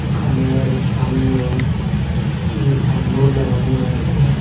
দুকানের সামনে একটি সাইনবোর্ড লাগানো রয়েসে।